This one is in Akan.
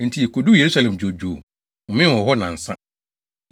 Enti yekoduu Yerusalem dwoodwoo, homee wɔ hɔ nnansa.